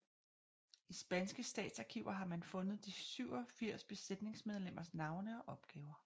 I spanske statsarkiver har man fundet de 87 besætningsmedlemmers navne og opgaver